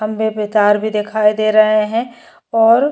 खंभे पे तार भी देखाई दे रहे हैं और --